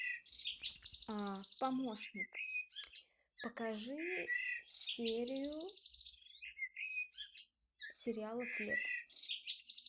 помощник покажи серию сериала след